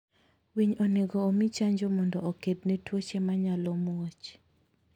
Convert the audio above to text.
winy onego omii chanjo mondo okedne tuohe ma nyalo muoch